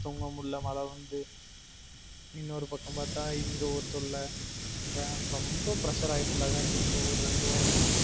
தூங்க முடியல மழ வந்து இன்னொரு பக்கம் பாத்தா இங்க ஒரு தொல்ல ரொம்ப pressure ஆயிட்டன் டா கார்த்தி இந்த ஒரு ரெண்டு வாரமா